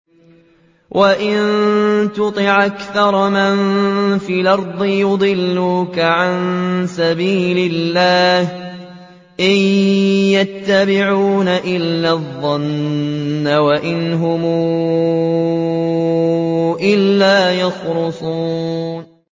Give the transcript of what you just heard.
وَإِن تُطِعْ أَكْثَرَ مَن فِي الْأَرْضِ يُضِلُّوكَ عَن سَبِيلِ اللَّهِ ۚ إِن يَتَّبِعُونَ إِلَّا الظَّنَّ وَإِنْ هُمْ إِلَّا يَخْرُصُونَ